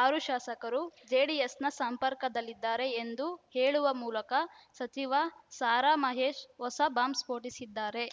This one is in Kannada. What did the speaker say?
ಆರು ಶಾಸಕರು ಜೆಡಿಎಸ್‌ನ ಸಂಪರ್ಕದಲ್ಲಿದ್ದಾರೆ ಎಂದು ಹೇಳುವ ಮೂಲಕ ಸಚಿವ ಸಾರಾಮಹೇಶ್‌ ಹೊಸ ಬಾಂಬ್‌ ಸ್ಫೋಟಿಸಿದ್ದಾರೆ